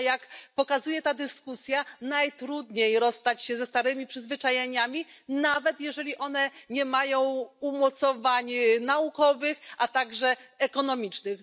A jak pokazuje ta dyskusja, najtrudniej rozstać się ze starymi przyzwyczajeniami, nawet jeżeli nie mają one umocowań naukowych ani ekonomicznych.